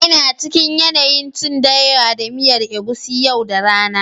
ina cikin yanayin cin dawa da miyar egusi yau da rana